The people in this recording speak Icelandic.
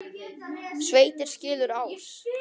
Sveitir skilur ás.